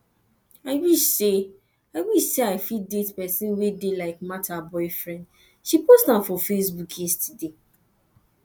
i wish say wish say i fit date person wey dey like martha boyfriend she post am for facebook yesterday